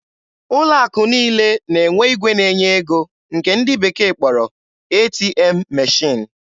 Ụlọ akụ niile na-enwe igwe na-enye ego nke ndị bekee kpọrọ "ATM machine."